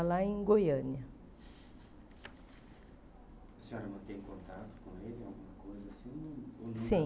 Lá em Goiânia A senhora mantém contato com ele, alguma coisa assim? Sim